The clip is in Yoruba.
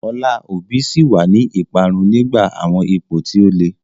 Ọlá Obi ṣì wà ní ìparun nígbà àwọn ipò tí ó le.